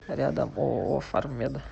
рядом ооо фармед